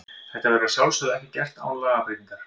Þetta verður að sjálfsögðu ekki gert án lagabreytingar.